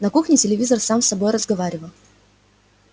на кухне телевизор сам с собой разговаривал